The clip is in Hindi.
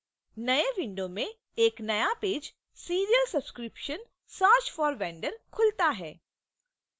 नए window में एक नया page serial subscription: search for vendor खुलता है